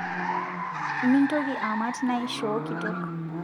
Mintoki aamat naishoo kitok